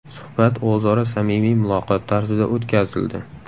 Suhbat o‘zaro samimiy muloqot tarzida o‘tkazildi.